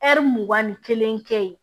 Ɛri mugan ni kelen kɛ yen